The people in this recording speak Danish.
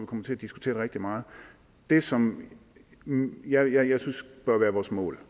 kommer til at diskutere det rigtig meget det som jeg jeg synes bør være vores mål